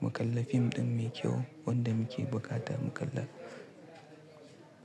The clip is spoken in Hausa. mu kalla fim ɗin mai kyau wanda muke bukata mu kalla.